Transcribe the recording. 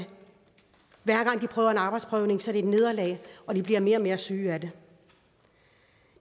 arbejdsprøvning et nederlag og de bliver mere og mere syge af det